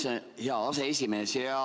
Tänan, hea aseesimees!